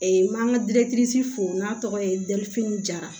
n m'an ka fo n'a tɔgɔ ye difini jara